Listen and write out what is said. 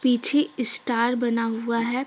पीछे स्टार बना हुआ है।